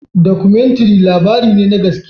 Dokomintiri labarine na gaske